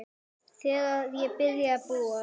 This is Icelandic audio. Þegar ég byrjaði að búa.